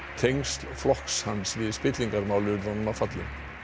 tengsl flokks hans við spillingarmál urðu honum að falli